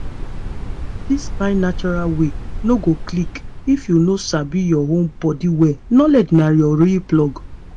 this kain natural way no go click if you no sabi your own body well knowledge na your real plug.